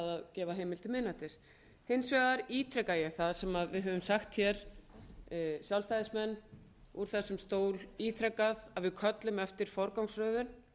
gefa heimild til miðnættis hins vegar ítreka ég það sem við höfum sagt hér sjálfstæðismenn úr þessum stól ítrekað að við köllum eftir forgangsröðun